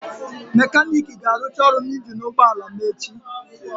Mekaniiki ga-arụcha ọrụ na injin ụgbọ ala m echi.